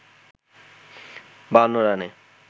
৫২ রানে